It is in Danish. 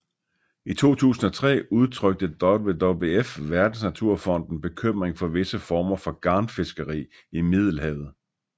I 2003 udtrykte WWF Verdensnaturfonden bekymring for visse former for garnfiskeri i Middelhavet